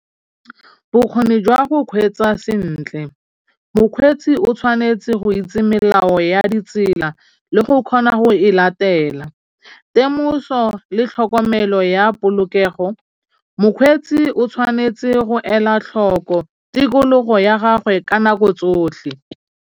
Bokgoni jwa go kgweetsa sentle. Mokgweetsi o tshwanetse go itse melao ya ditsela le go kgona go e latela. Temoso le tlhokomelo ya polokego, mokgweetsi o tshwanetse go ela tlhoko tikologo ya gagwe ka nako tsotlhe.